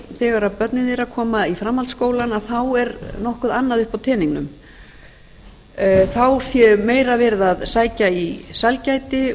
þegar börnin þeirra koma í framhaldsskólann er nokkuð annað uppi á teningnum þá sé meira verið að sækja í sælgæti